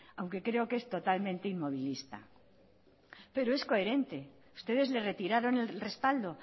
aunque creo que es totalmente inmovilista pero es coherente ustedes le retiraron el respaldo